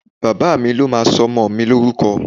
Bàbá mi ló máa sọmọ mi ní orúkọ